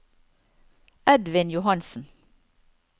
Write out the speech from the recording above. Edvin Johansen